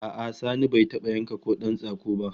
A'a Sani bai taba yanka kodan tsako ba